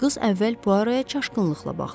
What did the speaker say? Qız əvvəl Puaroya çaşqınlıqla baxdı.